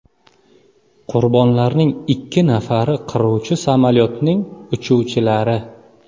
Qurbonlarning ikki nafari qiruvchi samolyotning uchuvchilari.